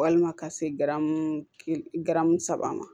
Walima ka se saba ma